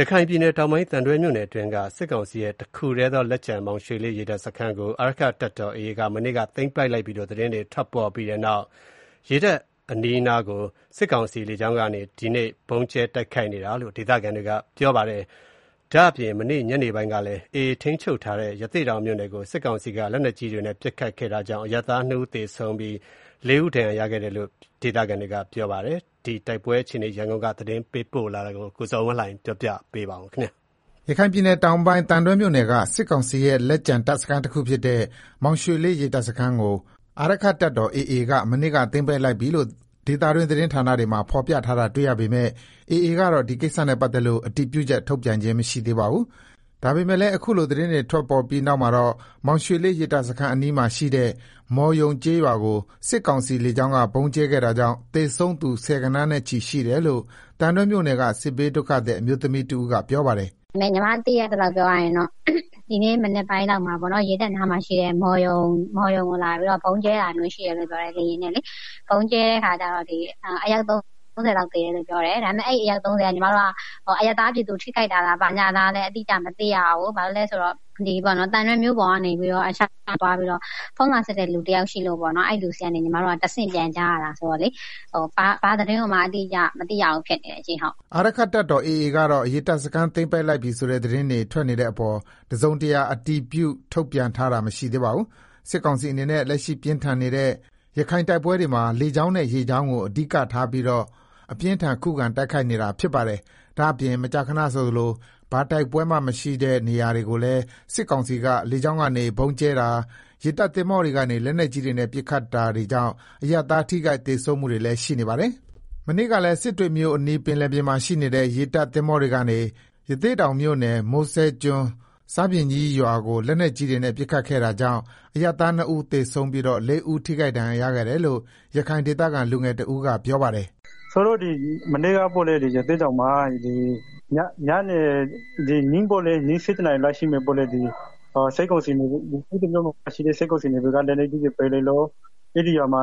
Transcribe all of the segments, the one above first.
ရခိုင်ပြည်နယ်တောင်ပိုင်း သံတွဲမြို့နယ်အတွင်းက စစ်ကောင်စီရဲ့ တခုတည်းသောလက်ကျန် မောင်ရွှေလေး ရေတပ်စခန်းကို အာရက္ခတပ်တော် AA က မနေ့က သိမ်းပိုက်လိုက်ပြီလို့ သတင်းတွေ ထွက်ပေါ် ပြီးနောက် ရေတပ်အနီးအနားကို စစ်ကောင်စီလေကြောင်းကနေ ဒီကနေ့ ဗုံးကြဲ တိုက်ခိုက်နေတယ်လို့ ဒေသခံတွေက ပြောပါတယ်။ ဒါ့အပြင်မနေ့ ညနေပိုင်းကလည်း AA ထိန်းချုပ်ထားတဲ့ ရသေ့တောင်မြို့နယ်ကို စစ်ကောင်စီက လက်နက်ကြီးတွေနဲ့ ပစ်ခတ်ခဲ့တာကြောင့် အရပ်သား ၂ဦးသေဆုံး၊ ၄ ဦး ဒဏ်ရာရရှိခဲ့တယ်လို့ ဒေသခံတွေက ပြောပါတယ်။ ရခိုင်ပြည်နယ် တိုက်ပွဲ နောက်ဆုံးအခြေအနေနဲ့ ပတ်သတ်ပြီး ရန်ကုန်က သတင်းပေးပို့ထားတာကို ကိုဇော်ဝင်းလှိုင်က တင်ပြပေးပါမယ်။ ရခိုင်ပြည်နယ်တောင်ပိုင်း သံတွဲမြို့နယ်က စစ်ကောင်စီရဲ့ လက်ကျန်တပ်စခန်းတခုဖြစ်တဲ့ မောင်ရွှေလေး ရေတပ်စခန်းကို အာရက္ခတပ်တော် AA က မနေ့က သိမ်းပိုက်လိုက်ပြီလို့ ဒေသတွင်း သတင်းဌာနတွေမှာ ဖော်ပြထားတာတွေ့ရပေမယ့် AA ကတော့ ဒီကိစ္စနဲ့ပတ်သက်လို့ အတည်ပြုချက် ထုတ်ပြန်ခြင်း မရှိသေးပါဘူး။ ဒါပမေယ့်လည်း အခုလို သတင်းတွေထွက်ပေါ်ပြီးနောက်မှာတော့ မောင်ရွှေလေးရေတပ်အနီး အနားမှာရှိတဲ့ မော်ရုံကျေးရွာကို စစ်ကောင်စီ လေကြောင်းက ဗုံးကြဲခဲ့တာကြောင့် သေဆုံးသူ ဆယ်ဂဏန်းနဲ့ချီ ရှိတယ်လို့ သံတွဲမြို့နယ်က စစ်ဘေးဒုက္ခသည် အမျိုးသမီးတဦးက ပြောပါတယ်။ “ညီမသိရသလောက်ကတော့ ဒီနေ့ မနက်ပိုင်းလောက်မှာတော့ ရေတပ်အနီးအနားမှာရှိတဲ့ မော်ရုံကျေးရွာကို လေယာဉ်နဲ့လာပြီးတော့ ဗုံးကြဲတာတွေ ရှိတယ်လို့ပြောတယ်။ ဗုံးကြဲတဲ့အခါကျတော့ အယောက် ၃ဝလောက် သေတယ်လို့ ပြောတယ်။ ဒါပေမယ့် အဲဒီအယောက် ၃ဝက အရပ်သားပြည်သူ ထိခိုက်တာလား ဘာလားလဲဆိုတာတော့ အတိအကျမသိရဘူး။ ဘာလို့ လည်းဆိုတော့ သံတွဲမြို့ပေါ်ကနေ ဖုန်းလာဆက်တဲ့လူတယောက် ရှိလို့ပေါ့နော်၊ အဲလူဆီကနေ ညီမတို့က တဆင့် ပြန်ကြားရတာဆိုတော့လေ၊ ဘာသတင်းကိုမှ အတိအကျမ သိရဘူး ဖြစ်နေတယ်ရှင့်။” အာရက္ခတပ်တော် AA ကတော့ ရေတပ်စခန်း သိမ်းပိုက်လိုက်ပြီဆိုတဲ့ သတင်းတွေထွက် နေတဲ့အပေါ် တစုံတရာ အတည်ပြု ထုတ်ပြန်ထားတာ မရှိသေးပါဘူး။ စစ်ကောင်စီအနေနဲ့ လက်ရှိပြင်းထန်နေတဲ့ ရခိုင်တိုက်ပွဲတွေမှာ လေကြောင်းနဲ့ ရေကြောင်းကို အဓိကထားပြီးတော့ အပြင်းအထန် ခုခံ တိုက်ခိုက်နေတာ ဖြစ်ပါတယ်။ ဒါ့အပြင် မကြာခဏဆိုသလို ဘာတိုက်ပွဲမှမရှိတဲ့ နေရာတွေကိုလည်း စစ်ကောင်စီက လေကြောင်းကနေ ဗုံးကြဲတာ၊ ရေတပ်သင်္ဘောတွေကနေ လက်နက်ကြီးတွေနဲ့ ပစ်ခတ်နေတာတွေကြောင့် အရပ်သားထိခိုက် သေဆုံးမှုတွေလည်း ရှိနေပါတယ်။ မနေ့ကလည်း စစ်တွေမြို့အနီး ပင်လယ်ပြင်မှာရှိနေတဲ့ ရေတပ်သင်္ဘောတွေကနေ ရသေ့တောင်မြို့နယ် မိုးစဲကျွန်း ဆားပြင်ကြီး ရွာကို လက်နက်ကြီးတွေနဲ့ ပစ်ခတ်ခဲ့တာကြောင့် အရပ်သား ၂ ဦးသေဆုံးပြီးတော့ ၄ ဦးဒဏ်ရာရရှိခဲ့တယ်လို့ ရခိုင်ဒေသခံ လူငယ်တဦးက ပြောပါတယ်။ “မနေ့ကပေါ့လေ၊ ရသေ့တောင်မှာ ည ၁၁နာရီရှိမယ်ပေါ့လေ၊ စစ်တွေမြို့မှာရှိတဲ့ စစ်ကောင်စီ နေဗီ က လက်နက်ကြီးတွေနဲ့ပစ်လို့ အဲဒီရွာမှာ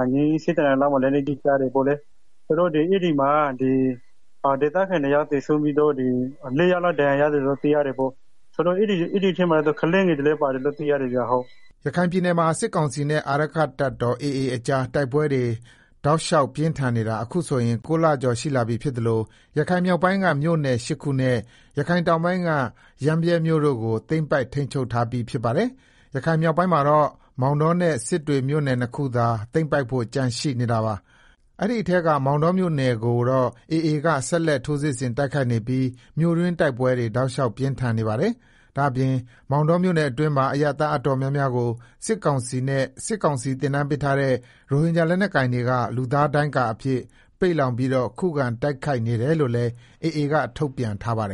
လက်နက်ကြီးကျတယ်ပေါ့လေ။ ဆိုတော့ အဲဒီ မှာသေဒခံ ၂ ယောက်သေဆုံးပြီးတော့ ၄ယောက်လောက် ဒဏ်ရာရတယ်လို့ သိရတယ်ပေါ့၊ အဲဒီထဲမှာ ကလေးငယ်တွေလည်း ပါတယ်လို့ သိရတယ်ဗျာဟုတ်။” ရခိုင်ပြည်နယ်မှာ စစ်ကောင်စီနဲ့ အာရက္ခတပ်တော် AA အကြား တိုက်ပွဲတွေ တောက်လျောက်ပြင်း ထန်နေတာ အခုဆိုရင် ၉လကျော် ရှိလာပြီဖြစ်သလို ရခိုင်မြောက်ပိုင်းက မြို့နယ် ၈ခုနဲ့ ရခိုင်တောင်ပိုင်းက ရမ်းဗြဲမြို့နယ်တို့ကို သိမ်းပိုက်ထိန်းချုပ်ထားပြီး ဖြစ်ပါတယ်။ ရခိုင်မြောက်ပိုင်းမှာတော့ မောင်တောနဲ့ စစ်တွေမြို့နယ်နှစ်ခုသာ သိမ်းပိုက်ဖို့ ကျန်ရှိနေတာပါ။ အဲဒီထဲက မောင်တောမြို့နယ်ကိုတော့ AA က ဆက်လက် ထိုးစစ်ဆင် တိုက်ခိုက်နေပြီး မြို့တွင်းတိုက်ပွဲတွေ တောက်လျောက် ပြင်းထန်နေတာပါ။ ဒါ့အပြင် မောင်တောမြို့တွင်းမှာ အရပ်သား တော်တော်များများကို စစ်ကောင်စီနဲ့ စစ်ကောင်စီသင်တန်းပေးထားတဲ့ ရိုဟင်ဂျာ လက်နက်ကိုင်တွေက လူသားဒိုင်းကာအဖြစ် ပိတ်လှောင်ပြီးတော့ ခုခံ တိုက်ခိုက်နေတယ်လို့လည်း AA က ထုတ်ပြန်ထားပါတယ်